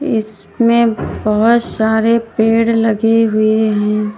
इसमें बहोत सारे पेड़ लगें हुये है।